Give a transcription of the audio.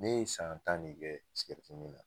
Ne ye san tan de kɛ min na